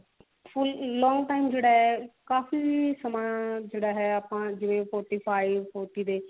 full long time ਜਿਹੜਾ ਹੈ ਕਾਫੀ ਸਮਾ ਜਿਹੜਾ ਹੈ ਜਿਵੇਂ forty five days